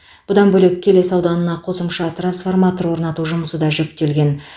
бұдан бөлек келес ауданына қосымша трансформатор орнату жұмысы да жүктелген